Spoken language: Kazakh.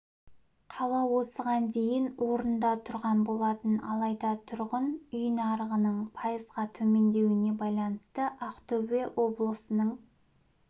қала осыған дейін орында тұрған болатын алайда тұрғын үй нарығының пайызға төмендеуіне байланысты ақтөбе облысының